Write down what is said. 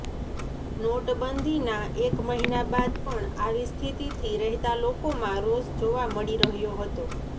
નોટબંધીના એક મહિના બાદ પણ આવી સ્થિતિથી રહેતા લોકોમાં રોષ જોવા મળી રહ્યો હતો